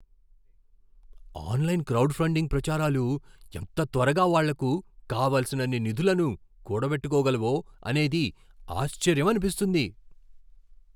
Online crowd funding ప్రచారాలు ఎంత త్వరగా వాళ్ళకు కావలసినన్ని నిధులను కూడబెట్టుకోగలవో అనేది ఆశ్చర్యమనిపిస్తుంది.